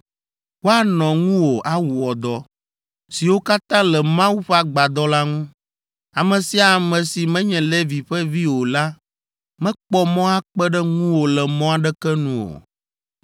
Woanɔ ŋuwò awɔ dɔ, siwo katã le Mawu ƒe agbadɔ la ŋu. Ame sia ame si menye Levi ƒe vi o la mekpɔ mɔ akpe ɖe ŋuwò le mɔ aɖeke nu o.